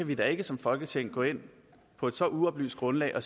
vi da ikke som folketing gå ind på et så uoplyst grundlag og